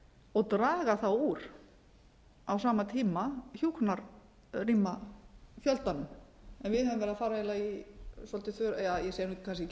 og draga þá úr á sama tíma hjúkrunarrýma ldanum en við höfum verið að fara eiginlega í svolítið hve ég segi kannski ekki